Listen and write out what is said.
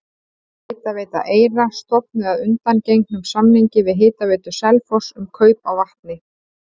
Hitaveita Eyra stofnuð að undangengnum samningi við Hitaveitu Selfoss um kaup á vatni.